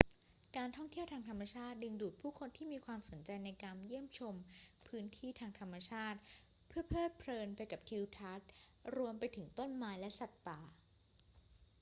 การท่องเที่ยวทางธรรมชาติดึงดูดผู้คนที่มีความสนใจในการเยี่ยมชมพื้นที่ทางธรรมชาติเพื่อเพลิดเพลินไปกับทิวทัศน์ รวมไปถึงต้นไม้และสัตว์ป่า